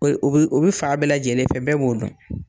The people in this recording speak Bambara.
U bɛ u bɛ fan bɛɛ lajɛlen fɛ bɛɛ b'o dɔn